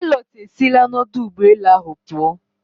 Pilot esila n'ọdụ ụgbọelu ahụ pụọ.